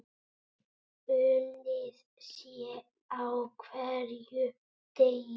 Unnið sé á hverjum degi.